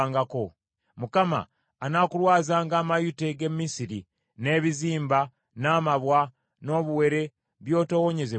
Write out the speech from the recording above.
Mukama anaakulwazanga amayute g’e Misiri, n’ebizimba, n’amabwa, n’obuwere, by’otoowonyezebwenga.